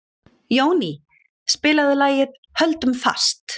Jóný, spilaðu lagið „Höldum fast“.